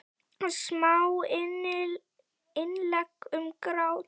Smá innlegg um grát.